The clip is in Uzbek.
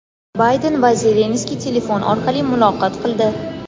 Bayden va Zelenskiy telefon orqali muloqot qildi.